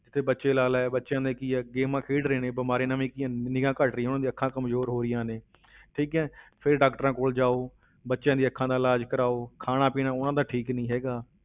ਤੇ ਬੱਚੇ ਲਾ ਲੈ ਬੱਚਿਆਂ ਦਾ ਕੀ ਹੈ games ਖੇਡ ਰਹੇ ਨੇ ਬਿਮਾਰੀ ਨਵੀਂ ਕੀ ਆ, ਨਿਗ੍ਹਾ ਘੱਟ ਰਹੀ ਹੈ ਉਹਨਾਂ ਦੀ ਅੱਖਾਂ ਕਮਜ਼ੋਰ ਹੋ ਰਹੀਆਂ ਨੇ ਠੀਕ ਹੈ ਫਿਰ doctor ਕੋਲ ਜਾਓ, ਬੱਚਿਆਂ ਦੀਆਂ ਅੱਖਾਂ ਦਾ ਇਲਾਜ਼ ਕਰਵਾਓ ਖਾਣਾ ਪੀਣਾ ਉਹਨਾਂ ਦਾ ਠੀਕ ਨੀ ਹੈਗਾ,